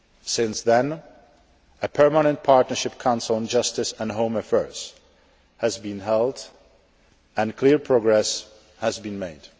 Since then, a Permanent Partnership Council on Justice and Home Affairs has been held and clear progress has been made.